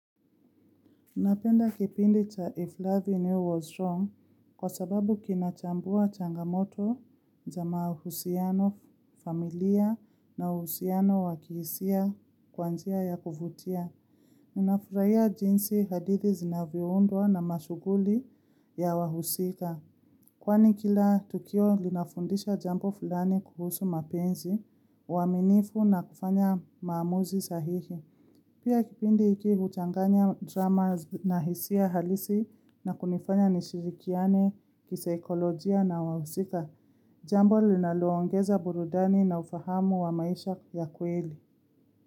Napenda kipindi cha If Love and You Was Wrong kwa sababu kinachambua changamoto za mahusiano familia na usiano wakihisia kwanjia ya kuvutia. Ninafurahia jinsi hadithi zinavyoundwa na mashughuli ya wahusika. Kwani kila tukio linafundisha jambo fulani kuhusu mapenzi, uaminifu na kufanya maamuzi sahihi. Pia kipindi hiki huchanganya drama na hisia halisi na kunifanya nishirikiane, kisaikolojia na wahusika. Jambo linaluongeza burudani na ufahamu wa maisha ya kweli.